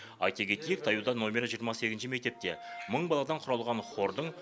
айта кетейік таяуда номері жиырма сегізінші мектепте мың баладан құралған хордың